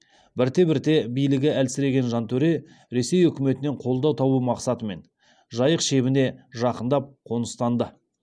бірте бірте билігі әлсіреген жантөре ресей үкіметінен қолдау табу мақсатымен жайық шебіне жақындап қоныстанды